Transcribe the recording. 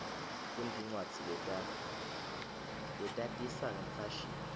kunetincwadzi letatisa ngemfashini